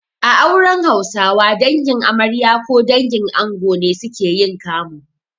A auren Hausawa, Dangin amarya ko dangin ango ne suke yin kamu.